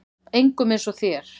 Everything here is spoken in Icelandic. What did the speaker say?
Engum eins og þér.